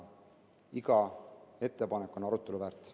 Iga ettepanek on arutelu väärt.